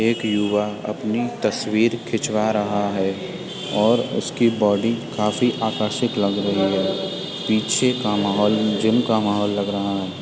एक युवा अपनी तस्वीर खिचवा रहा है और उसकी बॉडी काफी आकर्षित लग रही है। पीछे का माहौल जिम का माहौल लग रहा है।